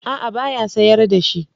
A'a ba ya sayar da shi.